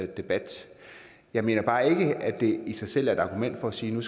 debat jeg mener bare ikke at det i sig selv er et argument for at sige